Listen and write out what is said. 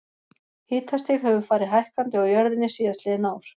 Hitastig hefur farið hækkandi á jörðinni síðastliðin ár.